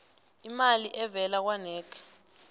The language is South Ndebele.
imali evela kwanac